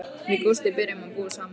Við Gústi byrjuðum að búa saman.